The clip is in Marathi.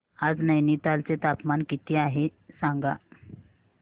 आज नैनीताल चे तापमान किती आहे सांगा